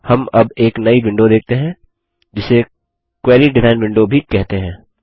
हम अब एक नई विंडो देखते हैं जिसे क्वेरी डिज़ाइन विंडो भी कहते हैं